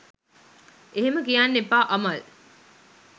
එහෙම කියන්න එපා අමල්